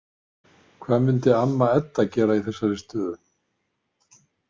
Hvað myndi amma Edda gera í þessari stöðu?